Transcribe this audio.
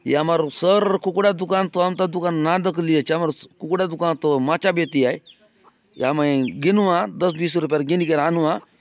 या मारो सर कुकड़ा दुकान कुकड़ा दुकान तो माचा बेति आए या माय गिनुआ दस बीस रूप्यर गिन गिरान नुआ।